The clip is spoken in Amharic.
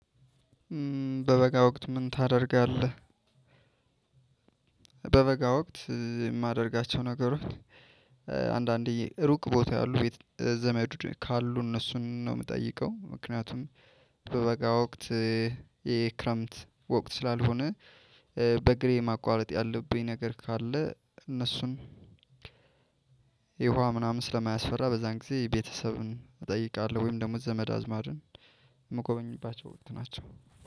በበጋ ወቅት ምን ታደርጋለህ? በበጋ ወቅት የማደርጋቸው ነገሮች አንዳንዴ ሩቅ ቦታ ያሉ ቤት ዘመድ ካሉ እነሱን ነው የምጠይቀው ምክንያቱም። በበጋ ወቅት የክረምት ወቅት ስላልሆነ። በእግሬ ማቋረጥ ያለብኝ ነገር ካለ እነሱን ውሃ ምናምን ስለማያስፈራ በዛን ጊዜ ቤተሰብን እጠይቃለሁ። ወይም ደግሞ ዘመድ አዝማድን። ምጎበኝባቸው ወቅት ናቸው።